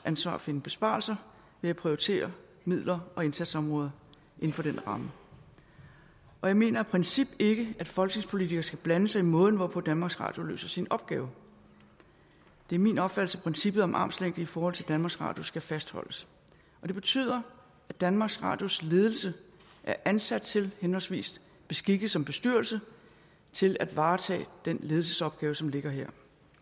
ansvar at finde besparelser ved at prioritere midler og indsatsområder inden for den ramme jeg mener af princip ikke at folketingspolitikere skal blande sig i måden hvorpå danmarks radio løser sin opgave det er min opfattelse at princippet om armslængde i forhold til danmarks radio skal fastholdes og det betyder at danmarks radios ledelse er ansat til henholdsvis beskikket som bestyrelse til at varetage den ledelsesopgave som ligger her